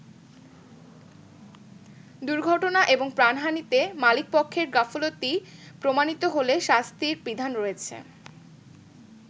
দূর্ঘটনা এবং প্রাণহানিতে মালিকপক্ষের গাফলিত প্রমানিত হলে শাস্তির বিধান রয়েছে।